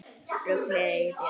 Ruglið í þér!